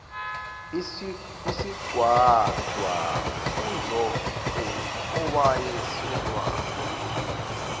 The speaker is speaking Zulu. isigcwagcwa kuzonke owayesenolwazi